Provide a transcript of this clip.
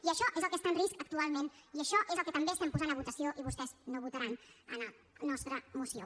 i això és el que està en risc actualment i això és el que també posem a votació i vostès no votaran en la nostra moció